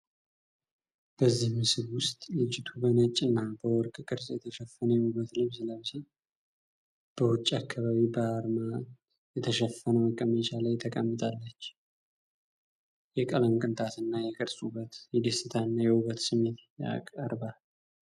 በዚህ ምስል ውስጥ ልጅቱ በነጭ እና በወርቅ ቅርጽ የተሸፈነ የውበት ልብስ ለብሳ በውጭ አካባቢ በአርማት የተሸፈነ መቀመጫ ላይ ተቀምጣ አለችህ። የቀለም ቅንጣት እና የቅርጽ ውበት የደስታ እና የውበት ስሜት ያቀርባል።